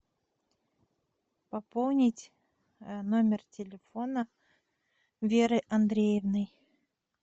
пополнить номер телефона веры андреевны